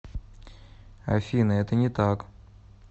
афина это не так